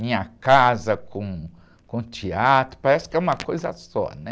Minha casa com, com o teatro, parece que é uma coisa só, né?